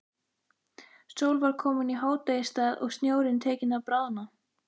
Sól var komin í hádegisstað og snjórinn tekinn að bráðna.